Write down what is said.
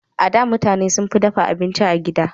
A da, mutane sunfi dafa abinci a gida.